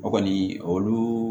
O kɔni olu